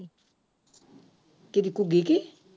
ਕਿਹੜੀ ਘੁੱਗੀ ਕੀ